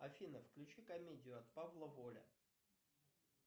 афина включи комедию от павла воля